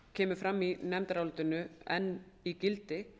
kemur í nefndarálitinu enn í gildi